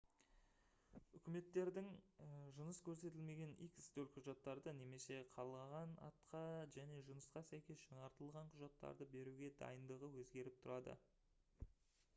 үкіметтердің жыныс көрсетілмеген x төлқұжаттарды немесе қалаған атқа және жынысқа сәйкес жаңартылған құжаттарды беруге дайындығы өзгеріп тұрады